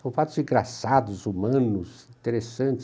São fatos engraçados, humanos, interessantes.